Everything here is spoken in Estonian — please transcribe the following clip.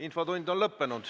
Infotund on lõppenud.